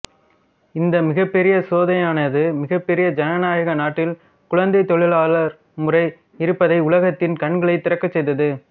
இந்த மிகப்பெரிய சோதனையானது மிகப்பெரிய ஜனநாயக நாட்டில் குழந்தைத் தொழிலாளர் முறை இருப்பதை உலகத்தின் கண்களைத் திறக்கச் செய்தது